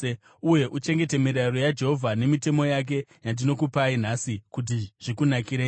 uye uchengete mirayiro yaJehovha nemitemo yake yandinokupai nhasi kuti zvikunakire?